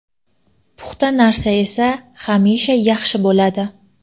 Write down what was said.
Puxta narsa esa hamisha yaxshi bo‘ladi.